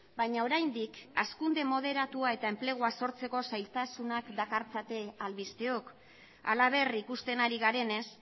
baina oraindik hazkunde moderatua eta enplegua sortzeko zailtasunak dakartzate albisteok halaber ikusten ari garenez